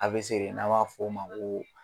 A bɛ siri n'an b'a fɔ o ma ko